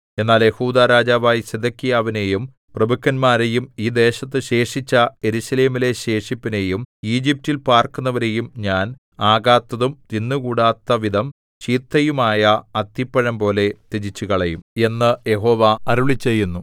എന്നാൽ യെഹൂദാ രാജാവായ സിദെക്കീയാവിനെയും പ്രഭുക്കന്മാരെയും ഈ ദേശത്തു ശേഷിച്ച യെരൂശലേമിലെ ശേഷിപ്പിനെയും ഈജിപ്റ്റിൽ പാർക്കുന്നവരെയും ഞാൻ ആകാത്തതും തിന്നുകൂടാത്തവിധം ചീത്തയുമായ അത്തിപ്പഴംപോലെ ത്യജിച്ചുകളയും എന്ന് യഹോവ അരുളിച്ചെയ്യുന്നു